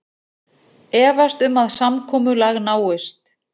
Efast um að samkomulag náist